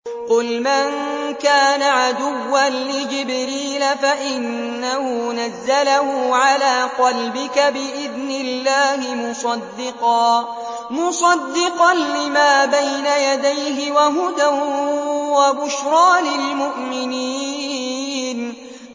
قُلْ مَن كَانَ عَدُوًّا لِّجِبْرِيلَ فَإِنَّهُ نَزَّلَهُ عَلَىٰ قَلْبِكَ بِإِذْنِ اللَّهِ مُصَدِّقًا لِّمَا بَيْنَ يَدَيْهِ وَهُدًى وَبُشْرَىٰ لِلْمُؤْمِنِينَ